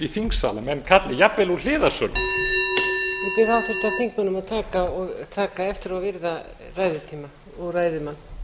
í þingsal að menn kalli jafnvel úr hliðarsal ég bið háttvirta þingmenn að taka eftir og virða ræðutíma og ræðumann